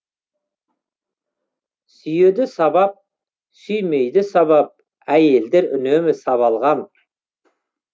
сүйеді сабап сүймейді сабап әйелдер үнемі сабалған